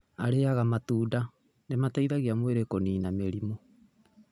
Arĩaga matunda nĩ mateithagia mwĩrĩ kũniina mĩrimũ.